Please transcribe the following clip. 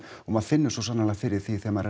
og maður finnur svo sannarlega fyrir því þegar maður er